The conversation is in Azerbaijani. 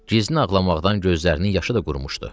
Gizli ağlamaqdan gözlərinin yaşı da qurumuşdu.